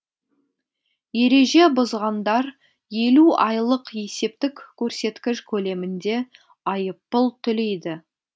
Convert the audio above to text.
ереже бұзғандар елу айлық есептік көрсеткіш көлемінде айыппұл төлейді